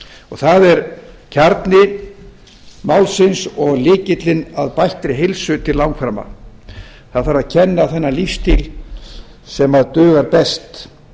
það er kjarni málsins og lykillinn að bættri heilsu til langframa það þarf að kenna þennan lífsstíl sem dugar best